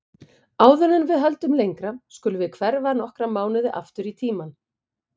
Áður en við höldum lengra skulum við hverfa nokkra mánuði aftur í tímann.